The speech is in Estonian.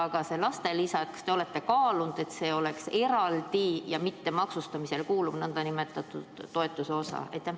Kas te olete kaalunud, et see laste osa võiks olla eraldi ja mittemaksustatav nn toetus?